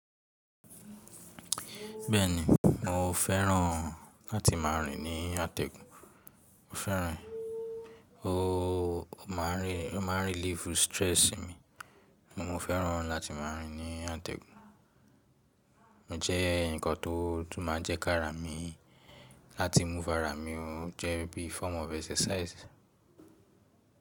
Bẹ́ẹ̀ni, mo fẹ́ràn láti máa rìn ní àtẹ̀gùn. Ó fẹ́ràn, ó máa relief stress mi. Mo fẹ́ràn láti máa rìn ní àtẹ̀gùn. Ó jẹ́ ǹkan tó tú máa jẹ́ kárà mi láti move ara mi o jẹ́ bí form of exercise.